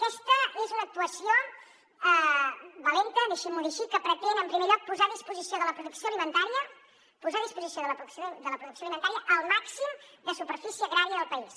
aquesta és una actuació valenta deixin m’ho dir així que pretén en primer lloc posar a disposició de la producció alimentària posar a disposició de la producció alimentària el màxim de superfície agrària del país